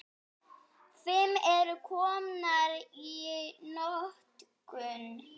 Fimm eru komnar í notkun.